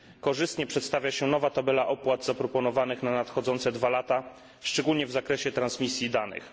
Korzystnie przedstawia się nowa tabela opłat zaproponowanych na nadchodzące dwa lata, szczególnie w zakresie transmisji danych.